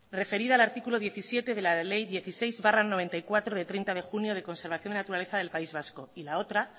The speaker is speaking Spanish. referida al artículo diecisiete de la ley dieciséis barra mil novecientos noventa y cuatro de treinta de junio de conservación de la naturaleza del país vasco y la otra